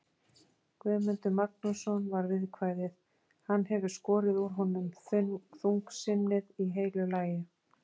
Guðmundur Magnússon, var viðkvæðið, hann hefur skorið úr honum þungsinnið í heilu lagi.